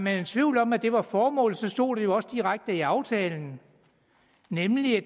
er i tvivl om at det var formålet så stod det jo også direkte i aftalen nemlig at